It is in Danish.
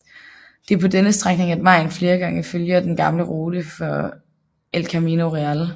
Det er på denne strækning at vejen flere gange følger den gamle rute for El Camino Real